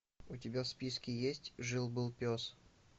у тебя в списке есть жил был пес